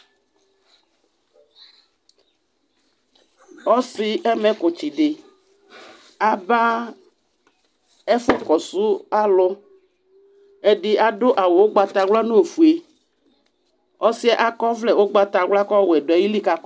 Ɔsɩ ɛmɛkʋtsɩ dɩ aba ɛfʋkɔsʋ alʋ Ɛdɩ adʋ awʋ ʋgbatawla nʋ ofue Ɔsɩ yɛ akɔ ɔvlɛ ʋgbatawla kʋ ɔwɛ dʋ ayili